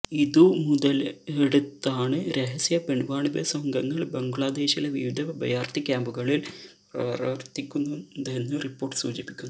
ഇതു മുതലെടുത്താണ് രഹസ്യ പെൺവാണിഭ സംഘങ്ങൾ ബംഗ്ലാദേശിലെ വിവിധ അഭയാർത്ഥി ക്യാമ്പുകളിൽ പ്രവർത്തിക്കുന്നതെന്ന് റിപ്പോർട്ട് സൂചിപ്പിക്കുന്നു